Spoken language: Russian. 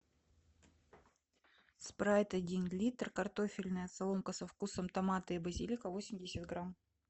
спрайт один литр картофельная соломка со вкусом томата и базилика восемьдесят грамм